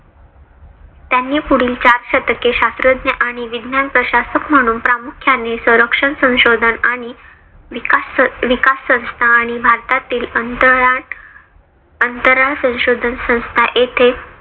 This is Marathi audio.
त्यांनी पुढील चार शतके शास्त्रज्ञ आणि विज्ञान प्रशासक म्हणून प्रामुख्याने संरक्षण संशोधन आणि विकास विकास संस्था आणि भारतातील अंतराळ अंतराळ संशोधन संस्था येथे